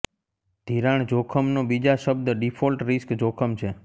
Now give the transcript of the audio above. ધિરાણ જોખમનો બીજા શબ્દ ડિફોલ્ટ રિસ્ક જોખમ છે